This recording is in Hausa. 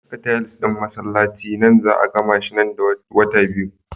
Saka tiles ɗin masallaci nan za 'a gamashi nan da wata biyu.